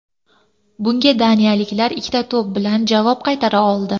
Bunga daniyaliklar ikkita to‘p bilan javob qaytara oldi.